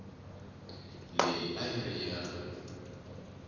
leyi a yi ri ya